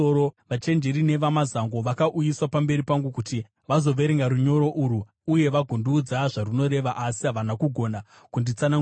Vachenjeri nevamazango vakauyiswa pamberi pangu kuti vazoverenga runyoro urwu uye vagondiudza zvarunoreva, asi havana kugona kunditsanangurira.